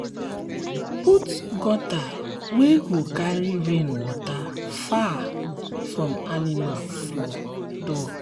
put gutter wey go carry rain water far from animal door.